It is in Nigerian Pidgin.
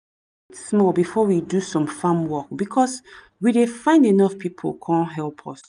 small before we do some farm work because we dey find enough people con help us